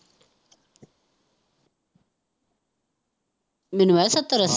ਮੈਨੂੰ ਲੱਗਦਾ ਸੱਤਰ-ਅੱਸੀ।